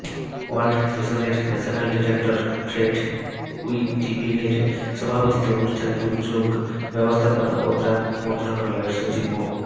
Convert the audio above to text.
world ভিশনের national director Fred উইটেভিনের সভাপতিত্বে অনুষ্ঠানে দুর্যোগ ব্যবস্থাপনা ও ত্রাণ মন্ত্রণালয়ের সচিব মো